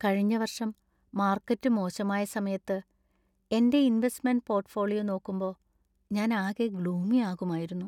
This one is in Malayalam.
കഴിഞ്ഞ വർഷം മാർക്കറ്റ് മോശമായ സമയത്ത് എന്‍റെ ഇൻവെസ്റ്റ്മെൻ്റ് പോർട്ട്‌ഫോളിയോ നോക്കുമ്പോ ഞാൻ ആകെ ഗ്ലൂമി ആകുമായിരുന്നു.